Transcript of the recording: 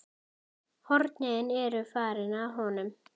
Hornin eru farin af honum.